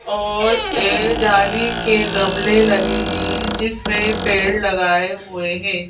और एक जाली के गमले लगे हैं जिस में पेड़ लगाए हुए हैं।